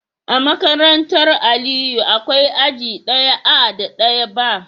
A makarantar Aliyu akwai aji daya A da daya B